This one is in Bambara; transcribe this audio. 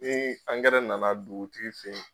Ni angɛrɛ nana duutii fe ye